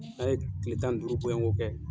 N'a ye tile tan ni duuru boyɔngo kɛ.